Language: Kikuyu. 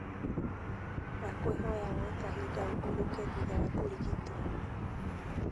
Ndakwĩhoya woye kahinda ũhurũke thutha wa kũrigitwo